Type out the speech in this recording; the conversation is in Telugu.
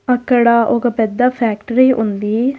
అక్కడ ఒక పెద్ద ఫ్యాక్టరీ ఉంది.